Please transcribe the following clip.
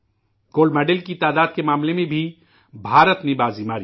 سونے کے تمغے کی تعداد کے معاملے میں ہندوستان بازی ماری